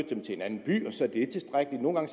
dem til en anden by og så er det tilstrækkeligt nogle gange